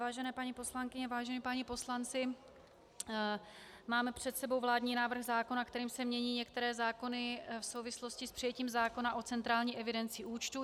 Vážené paní poslankyně, vážení páni poslanci, máme před sebou vládní návrh zákona, kterým se mění některé zákony v souvislosti s přijetím zákona o centrální evidenci účtů.